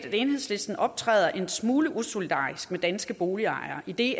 at enhedslisten optræder en smule usolidarisk med danske boligejere idet